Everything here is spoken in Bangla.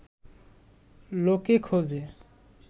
লোকে খোঁজে